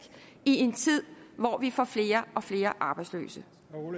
i en tid hvor vi får flere og flere arbejdsløse